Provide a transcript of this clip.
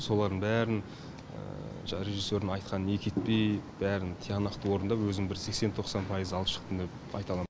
солардың бәрін режиссердің айтқанын екі етпей бәрін тиянақты орындап өзім бір сексен тоқсан пайыз алып шықтым деп айта аламын